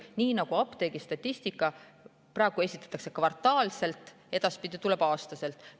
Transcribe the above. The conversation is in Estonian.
Apteegistatistikat esitatakse praegu kvartaalselt, edaspidi tuleb see aasta kohta.